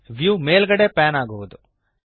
view ಮೇಲ್ಗಡೆಗೆ pan ಆಗುವದು